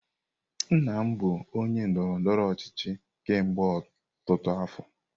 Nna m bụ onye ndọrọ ndọrọ ọchịchị kemgbe ọtụtụ afọ.